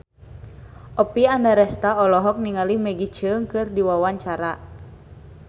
Oppie Andaresta olohok ningali Maggie Cheung keur diwawancara